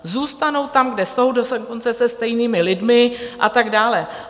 Zůstanou tam, kde jsou, dokonce se stejnými lidmi a tak dále.